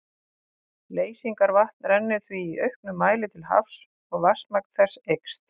Leysingavatn rennur því í auknum mæli til hafs og vatnsmagn þess eykst.